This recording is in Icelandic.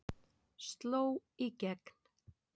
Sló í gegn